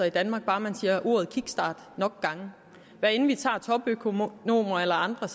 i danmark bare man siger ordet kickstart nok gange hvad enten vi tager topøkonomer eller andre